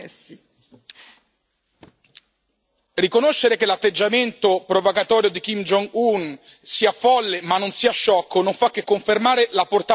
Riconoscere che l'atteggiamento provocatorio di Kim Jong un sia folle ma non sia sciocco non fa che confermare la portata della minaccia a livello regionale e internazionale.